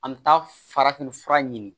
An bɛ taa farafin fura ɲini